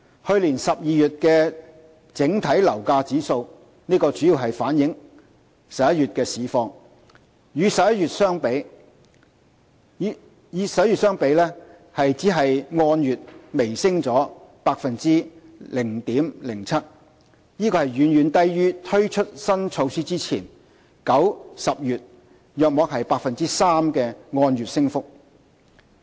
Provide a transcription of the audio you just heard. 去年12月的整體樓價指數，主要反映11月的市況，與11月的相比，按月只微升 0.07%， 遠遠低於推出新措施前9月、10月約 3% 的按月升幅。